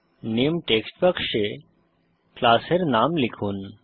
নামে টেক্সট বাক্সে ক্লাসের নাম লিখুন